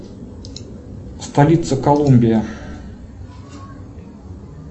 столица колумбия